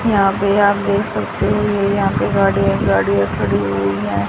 यहां पे आप देख सकते हो ये यहां पे गाड़ी है गाड़ियां खड़ी हुई है।